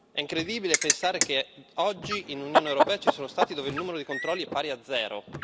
È incredibile pensare che oggi in Unione europea ci sono Stati dove il numero di controlli è pari a zero.